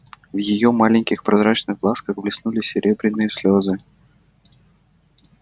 в её маленьких прозрачных глазках блеснули серебряные слезы